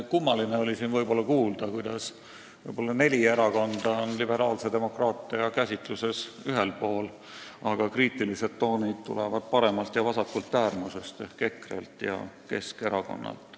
Kummaline oli siin kuulda, et neli erakonda on liberaalse demokraatia käsitluses ühel poolel, aga kriitilised toonid tulevad paremast ja vasakust äärmusest ehk EKRE-lt ja Keskerakonnalt.